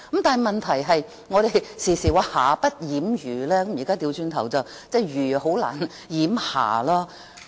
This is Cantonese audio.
但問題是，我們時常說"瑕不掩瑜"，現在要倒過來說，瑜難以掩瑕。